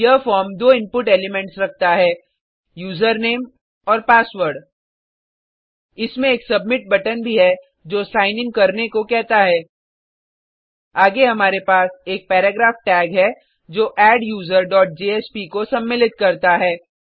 यह फॉर्म दो input elements रखता है यूज़रनेम और पासवर्ड इसमें एक सबमिट बटन भी है जो सिग्न इन करने को कहता है आगे हमारे पास एक पैराग्राफ टैग है जो adduserजेएसपी का सम्मलित करता है